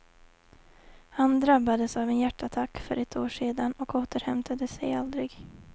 Han drabbades av en hjärtattack för ett år sen och återhämtade sig aldrig.